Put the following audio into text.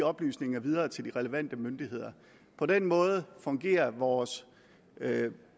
oplysninger videre til de relevante myndigheder på den måde fungerer vores